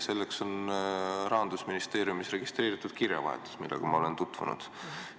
Selleks on Rahandusministeeriumis registreeritud kirjavahetus, millega ma olen tutvunud.